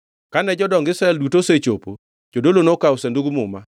Kane jodong Israel duto osechopo, jodolo nokawo Sandug Muma,